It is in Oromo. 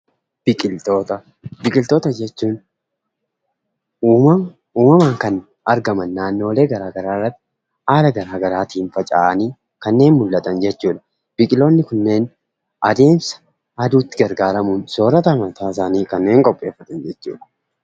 Biqiltoota, Biqiltoota jechuun uummamaan kan argama naannoolee garagaraarra haala garagaraatiin faca'anii kannen mul'atan jechuudha. Biqiloonni kunneen adeemsa aduutti gargaaramuun soorata mataa isaanii kanniin qopheefatan jechuudha.